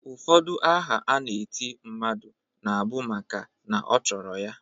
Ụfọdụ aha a na-eti mmadụ na bu maka na ọ chọrọ ya.